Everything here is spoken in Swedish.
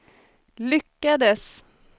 lyckades